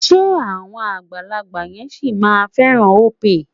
Ṣé àwọn àgbàlagbà yẹn sì máa fẹ́ràn Opay?